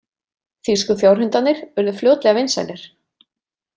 Þýsku fjárhundarnir urðu fljótlega vinsælir.